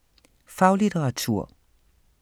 Faglitteratur